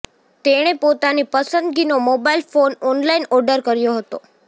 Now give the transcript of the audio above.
તેણે પોતાની પસંદગીનો મોબાઇલ ફોન ઓનલાઇન ઓર્ડર કર્યો હતો